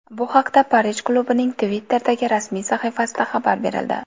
Bu haqda Parij klubining Twitter’dagi rasmiy sahifasida xabar berildi .